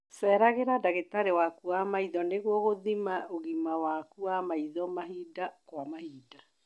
Ceragira ndagĩtarĩ waku wa maitho nĩguo gũthima ũgima waku wa maitho mahinda kwa mahinda